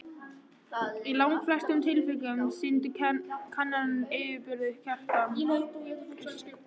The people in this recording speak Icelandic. Í langflestum tilvikum sýndu kannanir yfirburði Kristjáns.